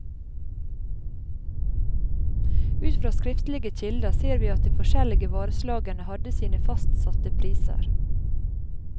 Ut fra skriftlige kilder ser vi at de forskjellige vareslagene hadde sine fastsatte priser.